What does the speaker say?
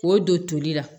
K'o don toli la